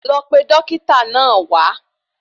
Lọ pe Dókítà náà wá